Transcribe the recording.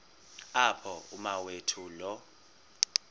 apho umawethu lo